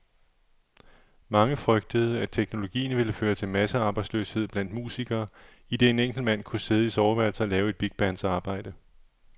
Mange frygtede, at teknologien ville føre til massearbejdsløshed blandt musikere, idet en enkelt mand kunne sidde i soveværelset og lave et bigbands arbejde.